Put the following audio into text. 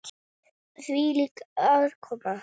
Hvílík aðkoma!